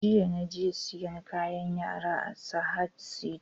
Jiya naje siyan kayan yara a Sahad sito